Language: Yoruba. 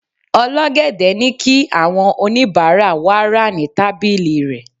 ol'ogede ni ki awọn onibara wa ra ni tábìlì rẹ